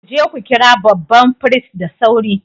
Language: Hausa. Ku je ku kira babban firist da sauri!